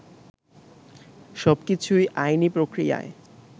সবকিছুই আইনি প্রক্রিয়ায়